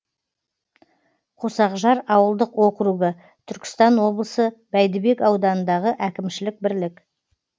қосақжар ауылдық округі түркістан облысы бәйдібек ауданындағы әкімшілік бірлік